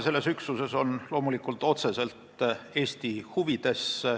Selles üksuses osalemine on loomulikult otseselt Eesti huvides.